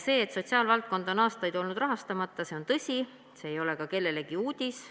See, et sotsiaalvaldkond on aastaid olnud rahastamata, on tõsi, see ei ole kellelegi uudis.